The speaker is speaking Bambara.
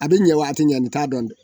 A bɛ ɲɛ wa a ti ɲɛ an t'a dɔn dɛ.